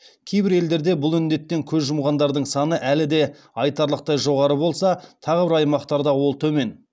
кейбір елдерде бұл індеттен көз жұмғандардың саны әлі де айтарлықтай жоғары болса тағы бір аймақтарда ол төмен